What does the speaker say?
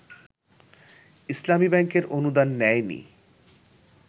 ইসলামী ব্যাংকের অনুদান নেয়নি